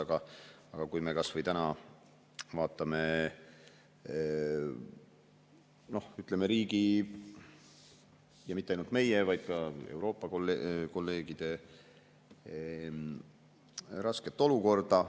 Aga vaatame kas või täna, ütleme, riigi ja mitte ainult meie, vaid ka Euroopa kolleegide rasket olukorda.